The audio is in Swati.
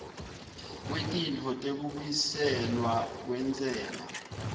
kwetintfo tekubuyiselwa kwentsela